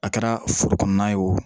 A kɛra foro kɔnɔna ye wo